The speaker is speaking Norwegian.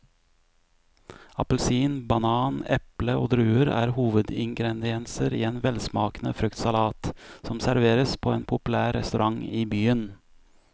Appelsin, banan, eple og druer er hovedingredienser i en velsmakende fruktsalat som serveres på en populær restaurant i byen.